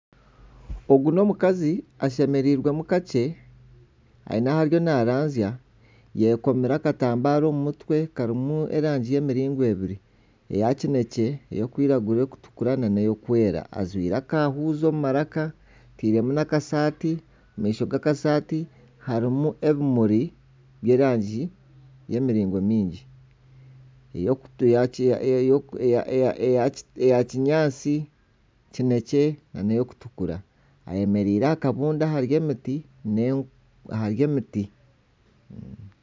Ogu n'omukazi ashemereirwe mu kakye, aine ahariyo naranzya. Ayekomire akatambaara omu mutwe karimu erangi y'emiringo ebiri. Eya kinekye, erikwiragura, erikutukura n'erikwera. Ajwire akahuuzi omu maraka, ateiremu n'akasaati. Omu maisho g'akasaati harimu n'ebimuri bw'erangi z'emiringo nyingi. Eya kinyaatsi, kinekye nana erikutukura. Ayemereire aha kabuunda ahari emiti.